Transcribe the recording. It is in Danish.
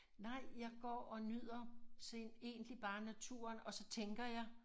Nej jeg går og nyder set egentlig bare naturen og så tænker jeg